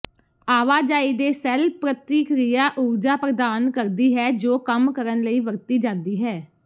ਆਵਾਜਾਈ ਦੇ ਸੈੱਲ ਪ੍ਰਤੀਕ੍ਰਿਆ ਊਰਜਾ ਪ੍ਰਦਾਨ ਕਰਦੀ ਹੈ ਜੋ ਕੰਮ ਕਰਨ ਲਈ ਵਰਤੀ ਜਾਂਦੀ ਹੈ